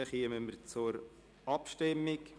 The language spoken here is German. Dann kommen wir zur Abstimmung.